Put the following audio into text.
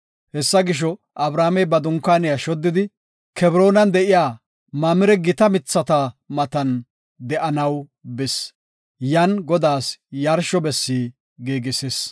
Hessa gisho, Abramey ba dunkaaniya shoddidi Kebroonan de7iya Mamire gita mithata matan de7anaw bis. Yan Godaas yarsho bessi giigisis.